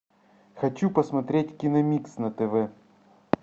хочу посмотреть киномикс на тв